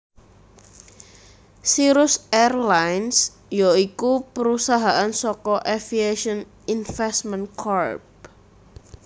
Cirrus Airlines ya iku perusahaan saka Aviation Investment Corp